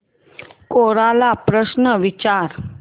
कोरा ला प्रश्न विचार